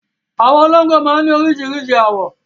Àwọn olóńgbò máa ń ní oríṣiríṣi àwọ̀